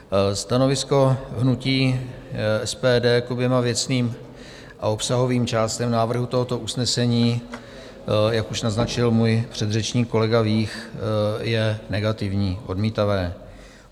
Stanovisko hnutí SPD k oběma věcným a obsahovým částem návrhu tohoto usnesení, jak už naznačil můj předřečník kolega Vích, je negativní, odmítavé.